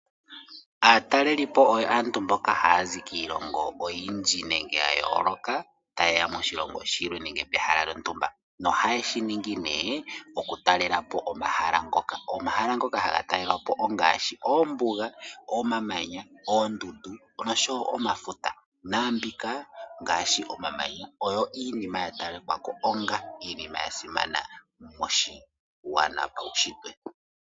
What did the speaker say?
Aatalelipo oyo aabtu haya zi kiilongo oyindji nenge ya yooloka ta yeya moshilongo shimwe nenge peha lyo ntumba. No haye shiningi nee okutalelapo omahala ngoka. Omahala ngoka haga talelwapo ongaashi oombuga, omamanya, oondundu nosho woo omafuta . Naambika ngaashi omamanya oyo iinima ya talekwa onga iinima yasimana moshiwana pawu shitwe.